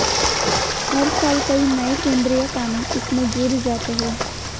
हर साल कई नए केंद्रीय कानून इसमें जुड़ जाते हैं